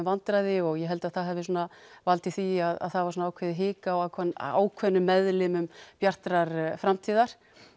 vandræði og ég held að það hafi svona valdið því að það var ákveðið hik á ákveðnum ákveðnum meðlimum Bjartrar framtíðar